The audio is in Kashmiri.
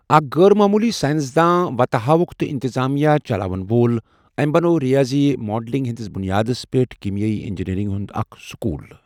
اَکھ غٲر معموٗلی ساینس دان، وَتہٕ ہاوُکھ تہٕ اِنٛتِظٲمیہ چَلاون وول، أمۍ بَنوو رِیٲضی ماڈلِنٛگ ہِنٛدِس بُنیادس پٮ۪ٹھ کیٖمیٲیی اِنٛجیٖنیٚرِنٛگ ہُنٛد اَکھ سٔکوٗل۔